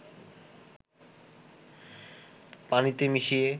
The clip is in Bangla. পানিতে মিশিয়ে